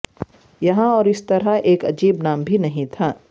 یہاں اور اس طرح ایک عجیب نام بھی نہیں تھا